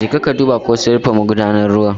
Jeka ka duba ko sun rufe magudanar ruwa.